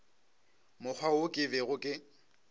mokgwa wo ke bego ke